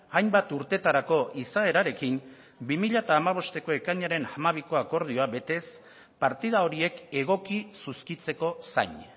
hainbat urtetarako izaerarekin bi mila hamabosteko ekainaren hamabiko akordioa betez partida horiek egoki zuzkitzeko zain